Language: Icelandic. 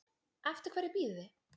Eftir hverju bíðið þið